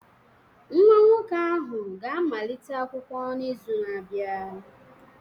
Nwa nwoke ahụ ga-amalite akwụkwọ n'izu na-abịa